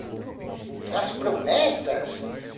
As promessas?